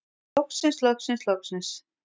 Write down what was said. Loksins loksins loksins.